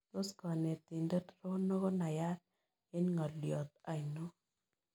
Tos' konetindet rono konayat eng' ng'olyot ainon